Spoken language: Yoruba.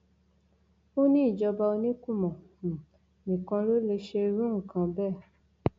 ó ní ìjọba oníkùmọ um nìkan ló lè ṣerú nǹkan bẹẹ